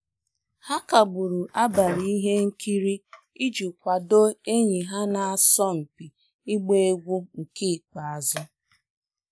Ha kagburu abalị ihe nkiri iji kwadoo enyi ha na-asọ mpi igba egwu nke ikpeazụ